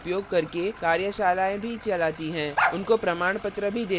उनको प्रमाणपत्र भी देते हैं जो online test pass करते हैं